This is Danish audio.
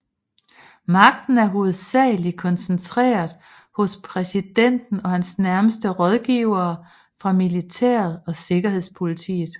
Magten er hovedsageligt koncentreret hos præsidenten og hans nærmeste rådgivere fra militæret og sikkerhedspolitiet